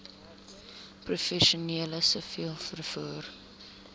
professioneel siviel vervoer